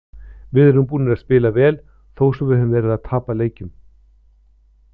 Við erum búnir að spila vel þó svo að við höfum verið að tapa leikjum.